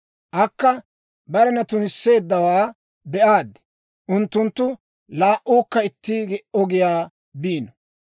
Akka barena tunisseeddawaa be'aaddu; unttunttu laa"uukka itti ogiyaa biino.